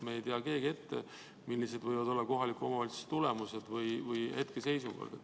Me ei tea keegi ette, millised võivad olla kohalikes omavalitsustes tulemused või nende hetkeseisukohad.